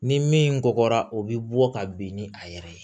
Ni min kɔgɔra o bɛ bɔ ka bin ni a yɛrɛ ye